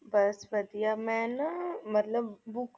ਬੱਸ ਵਧੀਆ ਮੈ ਨਾ ਮਤਲਬ book